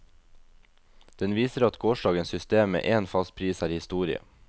Den viser at gårsdagens system med én fast pris er historie.